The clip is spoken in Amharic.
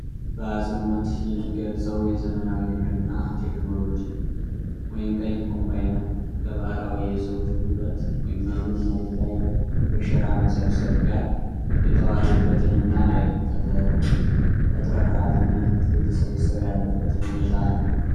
በአፅንኦት የሚገልፀው የዘመናዊ ግብርና ቴክኖሎጂ (ቀይ ኮምባይነር) ከባህላዊ የሰዎች ጉልበት (እህሉን መሬት ላይ በሸራ መሰብሰብ) ጋር የተዋሀደበትን እና ተትረፍራፊ ምርት እየተሰበሰበ ያለበትን ሁኔታ ነው።